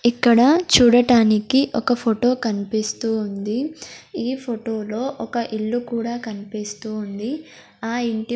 ఇక్కడ చూడటానికి ఒక ఫోటో కన్పిస్తూ ఉంది ఈ ఫోటో లో ఒక ఇల్లు కూడా కన్పిస్తూ ఉంది ఆ ఇంటి.